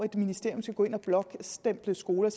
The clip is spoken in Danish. et ministerium skal gå ind og blåstemple skoler